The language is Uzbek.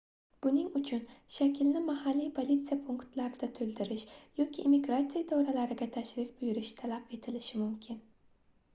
buning uchun shaklni mahalliy politsiya punktlarida toʻldirish yoki immigratsiya idoralariga tashrif buyurish talab etilishi mumkin